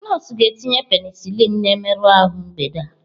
Nọọsụ ga-etinye penicillin na mmerụ ahụ mgbede a.